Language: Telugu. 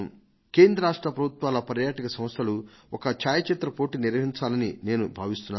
కేంద్ర రాష్ట్ర ప్రభుత్వాల పర్యాటక సంస్థలు ఒక ఛాయాచిత్ర పోటీని నిర్వహించాలని నేను భావిస్తున్నాను